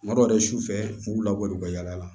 Kuma dɔ la yɛrɛ su fɛ u b'u labɔ u ka yala